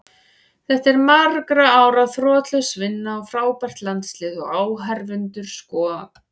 Þetta er margra ára þrotlaus vinna og frábært landslið, og áhorfendur sko.